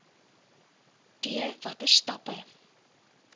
d watter stappe